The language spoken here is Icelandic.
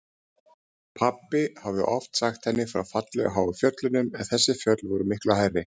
Pabbi hafði oft sagt henni frá fallegu háu fjöllunum en þessi fjöll voru miklu hærri.